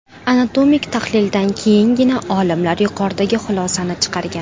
Anatomik tahlildan keyingina olimlar yuqoridagi xulosani chiqargan.